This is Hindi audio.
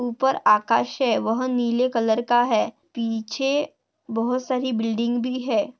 ऊपर आकाश है वह नीले कलर का है पीछे बहुत सारी बिल्डिंग भी है।